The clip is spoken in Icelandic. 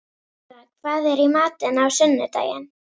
Mirra, hvað er í matinn á sunnudaginn?